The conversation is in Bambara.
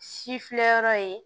Si filɛ yɔrɔ ye